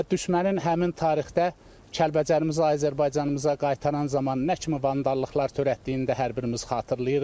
Və düşmənin həmin tarixdə Kəlbəcərimizi Azərbaycanımıza qaytaran zaman nə kimi vandallıqlar törətdiyini hər birimiz xatırlayırıq.